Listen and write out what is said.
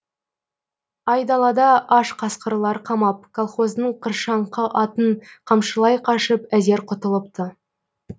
айдалада аш қасқырлар қамап колхоздың қыршаңқы атын қамшылай қашып әзер құтылыпты